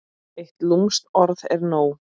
Eitt lúmskt orð er nóg.